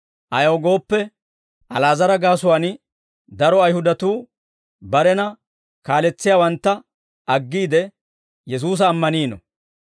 Ayaw gooppe, Ali'aazara gaasuwaan daro Ayihudatuu barena kaaletsiyaawantta aggiide, Yesuusa ammaniino.